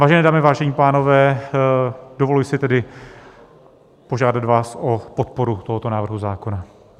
Vážené dámy, vážení pánové, dovoluji si tedy požádat vás o podporu tohoto návrhu zákona.